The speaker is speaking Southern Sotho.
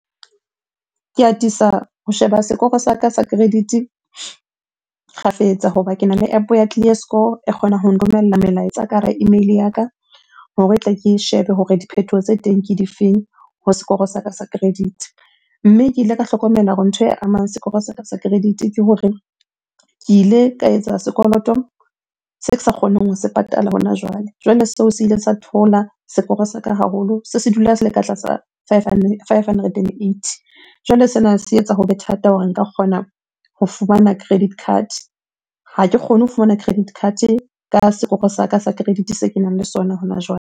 Ke atisa ho sheba sekoro sa ka sa credit-e kgafetsa hoba kena le App-o ya clear score e kgonang ho nromella melaetsa ka hara email-e ya ka hore tle ke shebe hore diphethoho tse teng ke di feng ho sekoro sa ka sa credit-e. Mme ke ile ka hlokomela hore ntho e amang sekoro sa ka sa credit-e ke hore ke ile ka etsa sekoloto se sa kgoneng ho se patala hona jwale. Jwale seo se ile sa theola sekoro sa ka haholo, se se dula se le ka tlasa five hundred and eighty. Jwale sena se etsa hobe thata hore nka kgona ho fumana credit card, ha ke kgone ho fumana credit card ka sekoro sa ka sa credit se kenang le sona hona jwale.